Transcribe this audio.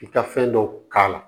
I ka fɛn dɔ k'a la